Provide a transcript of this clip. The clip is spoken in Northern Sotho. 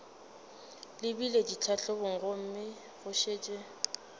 lebile ditlhahlobong gomme go šetše